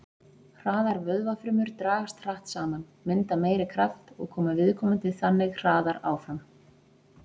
Hraðar vöðvafrumur dragast hratt saman, mynda meiri kraft og koma viðkomandi þannig hraðar áfram.